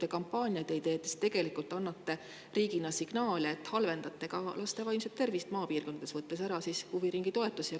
Te kampaaniaid ei tee, aga tegelikult te annate riigina signaale, kuna laste vaimne tervis maapiirkondades halveneb ja huviringitoetus on ära võetud.